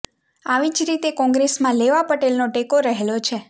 આવી જ રીતે કોંગ્રેસમાં લેઉવા પટેલનો ટેકો રહેલો છે